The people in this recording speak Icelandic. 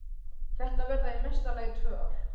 Þetta verða í mesta lagi tvö ár.